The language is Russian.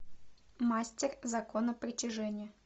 мастер закона притяжения